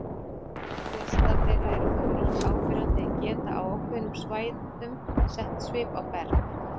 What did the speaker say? Flestar þeirra eru þó lítt áberandi en geta á ákveðnum svæðum sett svip á berg.